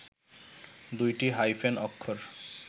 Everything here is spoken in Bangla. দুইটি হাইফেন অক্ষর